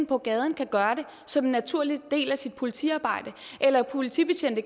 på gaden kan gøre det som en naturlig del af sit politiarbejde eller at politibetjente